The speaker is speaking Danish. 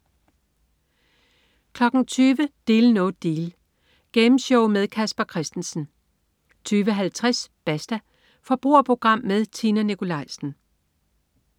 20.00 Deal No Deal. Gameshow med Casper Christensen 20.50 Basta. Forbrugerprogram med Tina Nikolaisen